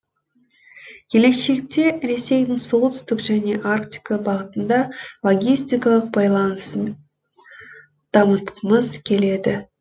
келешекте ресейдің солтүстік және арктика бағытында логистикалық байланысын дамытқымыз келеді